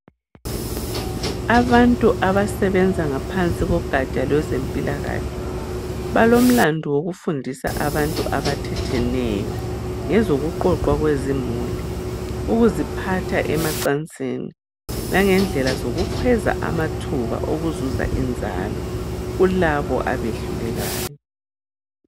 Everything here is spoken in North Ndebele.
Abantu abasebenza ngaphansi kogatsha lwezimpilakahle, balomlando wokufundisa abantu abathetheneyo ngokuqoqwa kwezimuli ,ukuziphatha emacansini langendlela yokukhweza amathuba wokuzuza inzalo kulabo abehlulekayo.